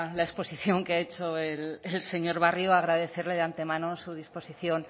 la exposición que ha hecho el señor barrio agradecerle de antemano su disposición